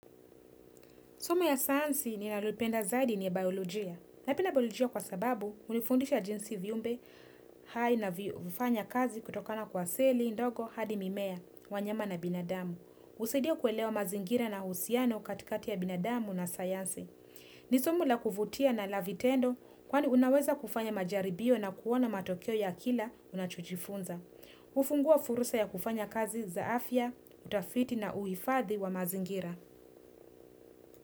Somo ya sayansi ninalipenda zaidi ni ya biolojia. Naipenda biolojia kwa sababu, hunifundisha jinsi viumbe, hai na hufanya kazi kutokana kwa seli, ndogo, hadi mimea, wanyama na binadamu. Husaidia kuelewa mazingira na uhusiano katikati ya binadamu na sayansi. Ni somo la kuvutia na la vitendo, kwani unaweza kufanya majaribio na kuona matokeo ya kila unachojifunza. Hufungua fursa ya kufanya kazi za afya, utafiti, na uhifadhi wa mazingira.